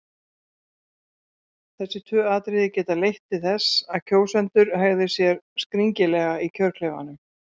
Þessi tvö atriði geta leitt til þess að kjósendur hegði sér skringilega í kjörklefanum.